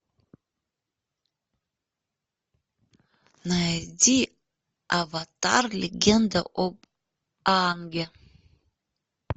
найди аватар легенда об аанге